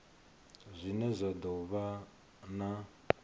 zwine zwa do vha na